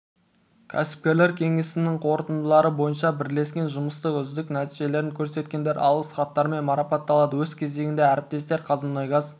кәсіпкерлер кеңесінің қорытындылары бойынша бірлескен жұмыстың үздік нәтижелерін көрсеткендер алғыс хаттармен марапатталды өз кезегінде әріптестер қазмұнайгаз